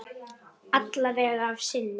Alla vega að sinni.